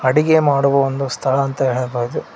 ಅಡಿಗೆ ಮಾಡುವ ಒಂದು ಸ್ಥಳ ಅಂತ ಹೇಳಬಹುದು.